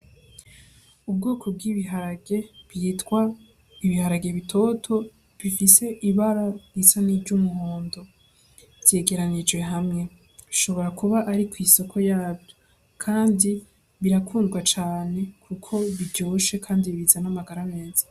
Ubwoko bw'ibiharage bwitwa ibiharage bitoto bifise ibara risa niry'umuhondo vyegeranijwe hamwe bishobora kuba Ari kw'isoko yavyo kandi birakundwa cane kuko biryoshe kandi bizana amagara meza.